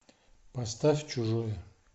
поставь чужое